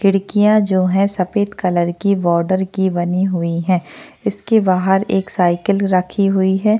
खिड़कियां जो है सफेद कलर की बॉर्डर की बनी हुई है इसके बाहर एक साइकिल रखी हुई है।